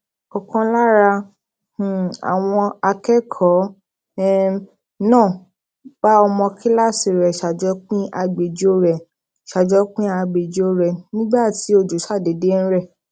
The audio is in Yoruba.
òkan lára um àwọn akékòó um náà bá ọmọ kíláàsì rè sajopin agbejo rè sajopin agbejo re nigba ti ojo ṣàdédé n rè